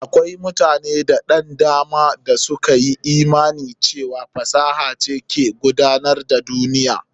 Akwai mutane da ɗan dama da suka yi imani cewa fasaha ce ke gudanar da duniya.